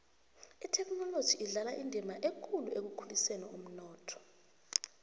ithekhinoloji idlala indima ekulu ekukhuliseni umnotho